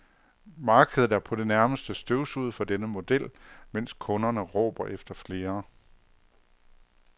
Markedet er på det nærmeste støvsuget for denne model, mens kunderne råber efter flere.